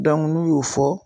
n'u y'o fɔ